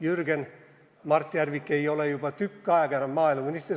Jürgen, Mart Järvik ei ole juba tükk aega maaeluminister.